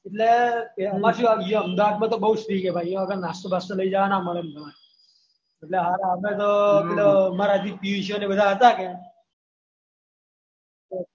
એમાં શું અમદાવાદમાં તો બહુ થિયેટર યા આગળ નાસ્તો બાસ્તો એટલે હારા અમે તો મારા જે પિયુષોને બધા હતા ને